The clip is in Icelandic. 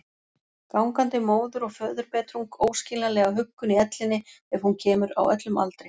Gangandi móður- og föðurbetrung, óskiljanlega huggun í ellinni ef hún kemur, á öllum aldri.